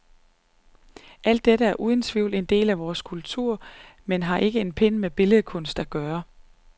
Alt dette er uden tvivl en del af vor tids kultur, men har ikke en pind med billedkunst at gøre.